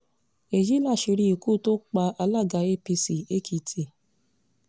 èyí làṣírí ikú tó pa alága apc ekìtì